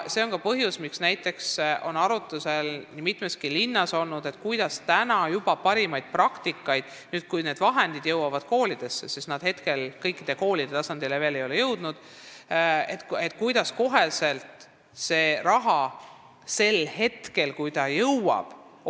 See on ka põhjus, miks on nii mõneski linnas olnud arutuse all see, kuidas kasutada ära parimaid kogemusi nii, et siis, kui raha jõuab koolidesse – praegu see ei ole veel kõikidesse koolidesse jõudnud –, saaks ka see parimal viisil ära kasutatud.